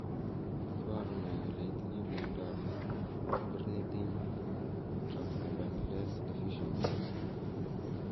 Iporu ne kole itinye miondap Ornithine transcarbamylase deficiency?